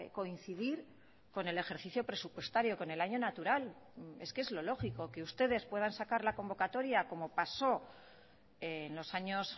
coincidir con el ejercicio presupuestario con el año natural es que es lo lógico que ustedes puedan sacar la convocatoria como pasó en los años